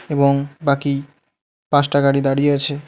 এবং বাকি পাঁচটা গাড়ি দাঁড়িয়ে আছে.